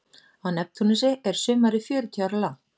Á Neptúnusi er sumarið fjörutíu ára langt.